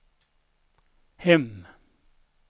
hem